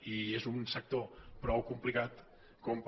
i és un sector prou complicat com per